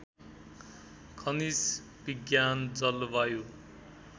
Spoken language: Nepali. खनिज विज्ञान जलवायु